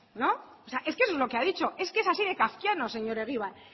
no o sea es que eso es lo que ha dicho es que es así de kafkiano señor egibar